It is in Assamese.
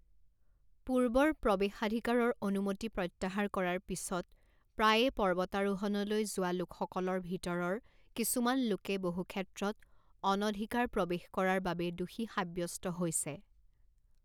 পূৰ্বৰ প্ৰৱেশাধিকাৰৰ অনুমতি প্ৰত্যাহাৰ কৰাৰ পিছত প্ৰায়ে পৰ্বতাৰোহণলৈ যোৱা লোকসকলৰ ভিতৰৰ কিছুমান লোকে বহুক্ষেত্ৰত অনধিকাৰ প্ৰৱেশ কৰাৰ বাবে দোষী সাব্যস্ত হৈছে৷